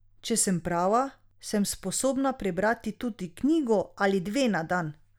Če sem prava, sem sposobna prebrati tudi knjigo ali dve na dan.